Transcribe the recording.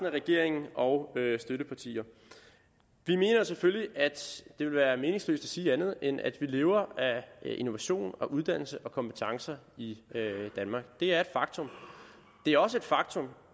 af regeringen og støttepartierne vi mener selvfølgelig at det vil være meningsløst at sige andet end at vi lever af innovation og uddannelse og kompetencer i danmark det er et faktum det er også et faktum